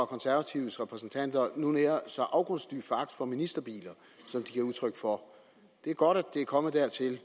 konservatives repræsentanter nu nærer så afgrundsdyb foragt for ministerbiler som de giver udtryk for det er godt at det er kommet dertil